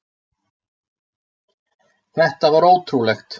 Þetta var ótrúlegt.